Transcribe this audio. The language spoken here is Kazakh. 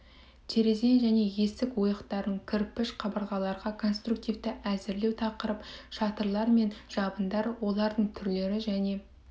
терезе және есік ойықтарын кірпіш қабырғаларға конструктивті әзірлеу тақырып шатырлар мен жабындар олардың түрлері және